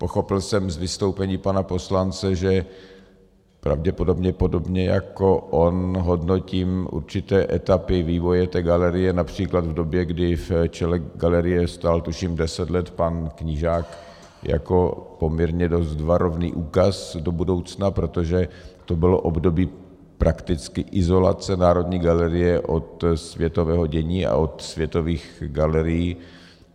Pochopil jsem z vystoupení pana poslance, že pravděpodobně podobně jako on hodnotím určité etapy vývoje té galerie, například v době, kdy v čele galerie stál, tuším, deset let pan Knížák jako poměrně dost varovný úkaz do budoucna, protože to bylo období prakticky izolace Národní galerie od světového dění a od světových galerií.